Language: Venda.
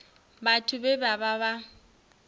vhathu vhe vha vha vha